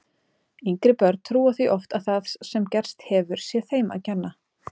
Yngri börn trúa því oft að það sem gerst hefur sé þeim að kenna.